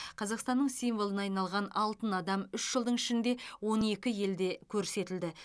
қазақстанның символына айналған алтын адам үш жылдың ішінде он екі елде көрсетілді